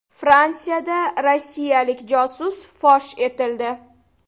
Fransiyada rossiyalik josus fosh etildi.